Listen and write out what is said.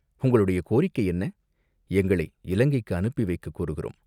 "உங்களுடைய கோரிக்கை என்ன?" "எங்களை இலங்கைக்கு அனுப்பி வைக்கக் கோருகிறோம்.